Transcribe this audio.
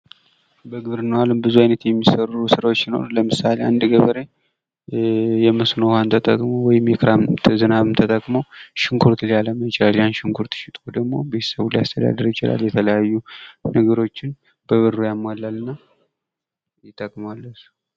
በግብርናው አለም የሚሠሩ ስራዎች ሲኖሩ ለምሳሌ አንድ ገበሬ የመስኖ ውሃን ተጠቅሞ ወይም የክረምት የዝናብን ተጠቅሞ ሽንኩርት ሊያለማ ይችላል ያን ሽንኩርት ሽጦ ደሞ ቤተሰቡን ሊያስተዳደር ይችላል። የተለያዩ ነገሮችን በብሩ ያሟላል እና ይጠቅመዋል። ለእሱ